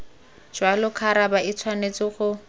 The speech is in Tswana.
jalo khabara e tshwanetse go